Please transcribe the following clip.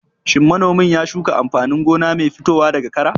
Shin manomin ya shuka amfanin gona mai fitowa daga kara?